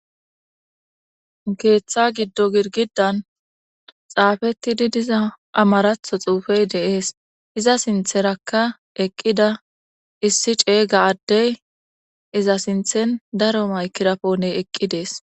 Geeththa giddo girgidan xaafettidi diza amaratho xuufey deees iza sintherakka eqqida issi ceeyga addey iza sinthen daro maykirapone eqqi dees